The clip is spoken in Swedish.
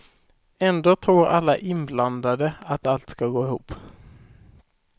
Ändå tror alla inblandade att allt ska gå ihop.